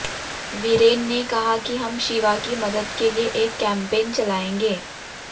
वीरेन ने कहा कि हम शिवा की मदद के लिए एक कैंपेन चलाएंगे